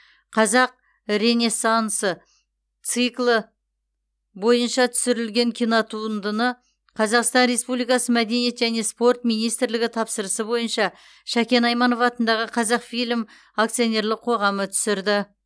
қазақ ренессансы циклы бойынша түсірілген кинотуындыны қазақстан республикасы мәдениет және спорт министрлігі тапсырысы бойынша шәкен айманов атындағы қазақфильм акционерлік қоғамы түсірді